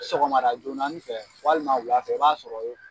Sɔgɔmada joonani fɛ walima wula fɛ i b'a sɔrɔ ye